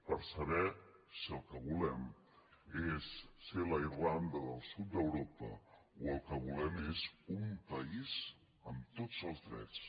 per saber si el que volem és ser la irlanda del sud d’europa o el que volem és un país amb tots els drets